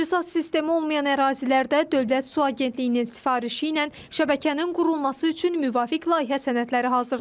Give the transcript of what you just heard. Təchizat sistemi olmayan ərazilərdə Dövlət Su Agentliyinin sifarişi ilə şəbəkənin qurulması üçün müvafiq layihə sənədləri hazırlanıb.